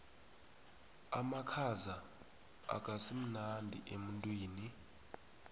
amakhaza akasimnandi emtwini